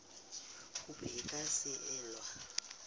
kopo e ka se elwe